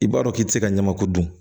I b'a dɔn k'i tɛ se ka ɲamaku dun